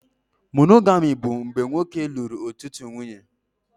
Poligami bụ mgbe nwoke lụrụ ọtụtụ nwunye